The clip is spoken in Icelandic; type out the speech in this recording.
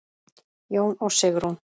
Jón og Sigrún.